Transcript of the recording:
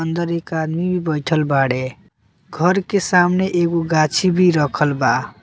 अंदर एक आदमी भी बइठल बाड़े घर के सामने एगो गांछी भी रखल बा।